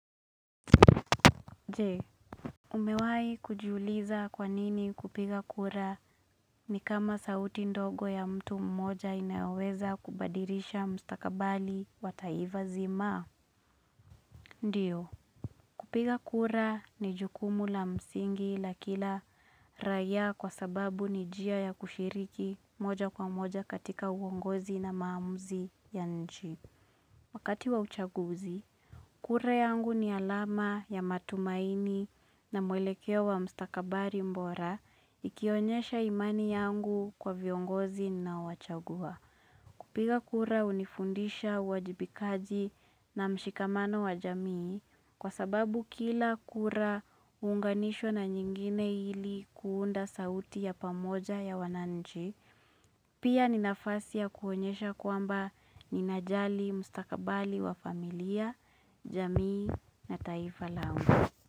Jee Umewai kujiuliza kwanini kupiga kura ni kama sauti ndogo ya mtu mmoja inaweza kubadikisha mstakabali wa taiva zima Ndiyo Kupiga kura ni jukumu la msingi la kila raia kwa sababu ni njia ya kushiriki moja kwa moja katika uongozi na maamuzi ya nchi Wakati wa uchaguzi, kura yangu ni alama ya matumaini na mwelekea wa mstakabari bora, ikionyesha imani yangu kwa viongozi na wachagua. Kupiga kura unifundisha wajibikaji na mshikamano wa jamii, kwa sababu kila kura unganisho na nyingine hili kuunda sauti ya pamoja ya wananji. Pia ninafasia kuonyesha kuamba ninajali, mustakabali wa familia, jamii na taifa langu.